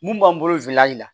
Mun b'an bolo la